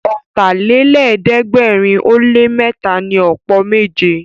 Ọ̀tàlélẹ̀ẹ́dẹ́gbẹ̀rin ó lé mẹ́ta ni ọ̀pọ̀ méje